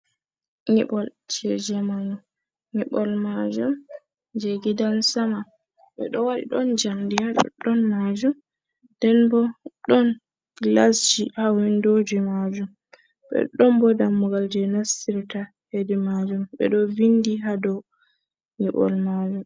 Nyiɓol jei zamanu. Nyiɓol majum jei gidan sama. Ɓe ɗo waɗi ɗon njamndi ha ɗoɗɗon majum. Nden bo ɗon gilasji ha windoji majum. Ɗon bo dammugal jei nastirta hedi majum ɓe ɗo vindi ha dou nyiɓol majum.